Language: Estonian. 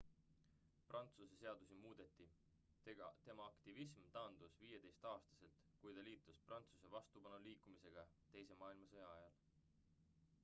prantsuse seadusi muudeti tema aktivism taandus 15-aastaselt kui ta liitus prantsuse vastupanuliikumisega teise maailmasõja ajal